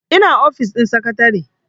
ina ofis din sakatare